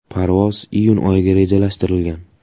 Parvoz iyun oyiga rejalashtirilgan.